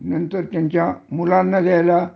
नंतर त्यांच्या मुलांना द्यायला